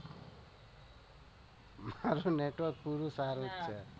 મારુ network પૂરું સારું છે.